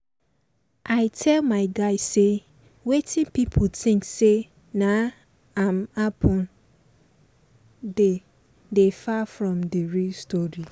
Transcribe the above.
i tell my guy say wetin pipo think say na im happen dey dey far from d real story